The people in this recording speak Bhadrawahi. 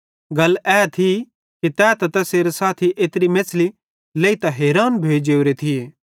गल ए थी कि तै त तैसेरे साथी एत्री मेछ़ली लेइतां हैरान भोइ जोरे थिये